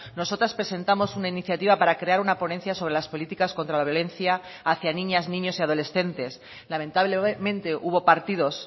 nosotras presentamos una iniciativa para crear una ponencia sobre las políticas contra la violencia hacia niñas niños y adolescentes lamentablemente hubo partidos